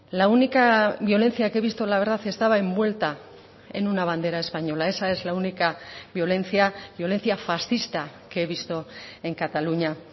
la única violencia que he visto la verdad estaba envuelta en una bandera española esa es la única violencia violencia fascista que he visto en cataluña